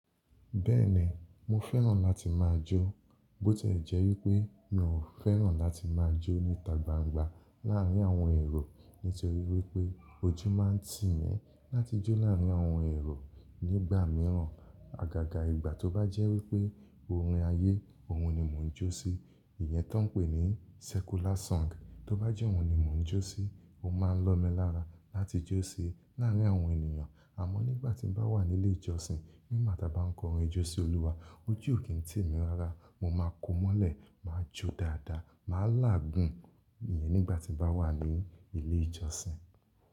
Bẹ́ẹ̀ni, mo fẹ́ràn láti máa jó. Boti e jẹ́ wípé mi ò fẹ́ràn láti máa jó níta gbangba láàárín àwọn èrò. Nítorí wípé ojú máa ń tì mí láti jó láàárín àwọn èrò nígbà mìíràn. Àgàgà ìgbà tó bá jẹ́ wípé orin ayé, òun ni mò ń jó sí. Ìyẹn taa ń pè ní secular song. Tó bá jẹ́ òhun ni mò ń jó sí, ó máa ń lọ̀ mí lára láti jó sí i láàárín àwọn ènìyàn. Àmọ́ nígbà tí mo bá wà ní ilé ìjọsìn, nígbà tí a bá ń kọ orin jó sí Olúwa, ojú ò kí ń tì mí lára. Mo máa ko mọ́lẹ̀, màá jó dáadáa, màá láàgùn. Ìyẹn nígbà tí mo bá wà ní ilé ìjọsìn.